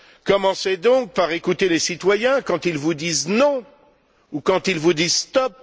Commencez donc par écouter les citoyens quand ils vous disent non ou quand ils vous disent stop.